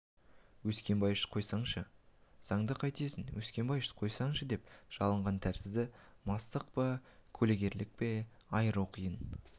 өскенбайыш қойсаңшы заңды қайтесің өскенбайыш қойсаңшы деп жалынған тәрізденді мастық па көлгірлік пе айыру қиын